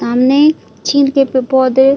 सामने छील के प-पौधे--